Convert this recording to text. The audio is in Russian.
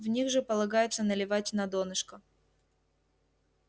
в них же полагается наливать на донышко